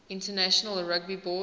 international rugby board